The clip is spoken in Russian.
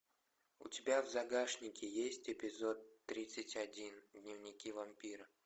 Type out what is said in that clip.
у тебя в загашнике есть эпизод тридцать один дневники вампира